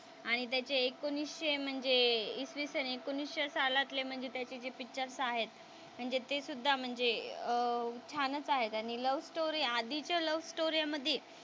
आणि त्याचे एकोणीसशे म्हणजे इसवीसन एकोणीसशे सलातले म्हणजे त्याचे जे पिक्चर्स आहेत म्हणजे ते सुद्धा म्हणजे अह छान आहेत आणि लव्हस्टोरी आधीच्या लव्हस्टोरी मध्ये